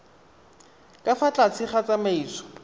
ka fa tlase ga tsamaiso